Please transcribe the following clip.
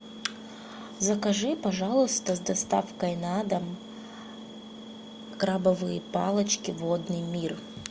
закажи пожалуйста с доставкой на дом крабовые палочки водный мир